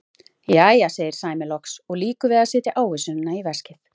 Jæja, segir Sæmi loks og lýkur við að setja ávísunina í veskið.